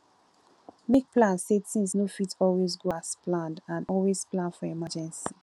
make plans sey things no fit always go as planned and always plan for emergency